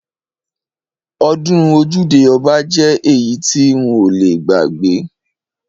Ọdún ojude oba jẹ́ èyí tí n ò le gbàgbé.